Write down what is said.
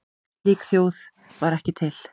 Slík þjóð var ekki til.